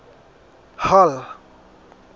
hall